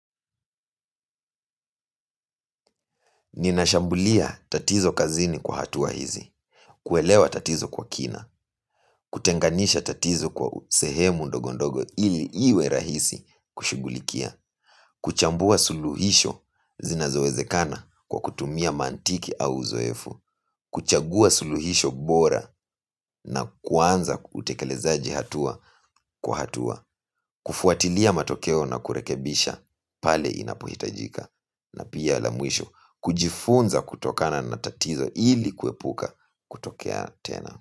Ninashambulia tatizo kazini kwa hatua hizi, kuelewa tatizo kwa kina, kutenganisha tatizo kwa sehemu ndogondogo ili iwe rahisi kushughulikia, kuchambua suluhisho zinazowezekana kwa kutumia mantiki au uzoefu, kuchagua suluhisho bora na kuanza utekelezaji hatua kwa hatua, kufuatilia matokeo na kurekebisha pale inapohitajika. Na pia la mwisho kujifunza kutokana na tatizo ili kuepuka kutokea tena.